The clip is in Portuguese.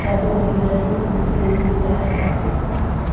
Já era um dinheirinho, dinheirinho extra que entrava, né?